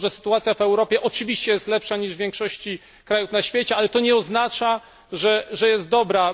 Sytuacja w Europie jest oczywiście lepsza niż w większości krajów na świecie, ale to nie oznacza, że jest dobra.